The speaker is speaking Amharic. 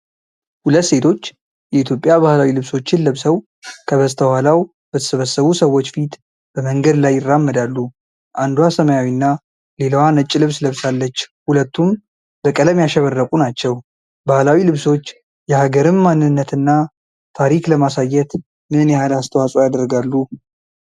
ሁለት ሴቶች የኢትዮጵያ ባህላዊ ልብሶችን ለብሰው ከበስተኋላው በተሰበሰቡ ሰዎች ፊት በመንገድ ላይ ይራመዳሉ። አንዷ ሰማያዊና ሌላዋ ነጭ ልብስ ለብሳለች፣ ሁለቱም በቀለም ያሸበረቁ ናቸው። ባህላዊ ልብሶች የሀገርን ማንነትና ታሪክ ለማሳየት ምን ያህል አስተዋጽኦ ያደርጋሉ?